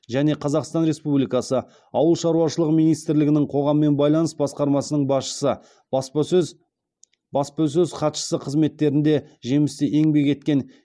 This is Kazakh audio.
және қазақстан республикасы ауыл шаруашылығы министрлігінің қоғаммен байланыс басқармасының басшысы баспасөз баспасөз хатшысы қызметтерінде жемісті еңбек еткен